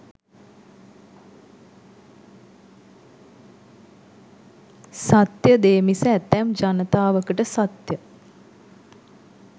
සත්‍ය දේ මිස ඇතැම් ජනතාවකට සත්‍ය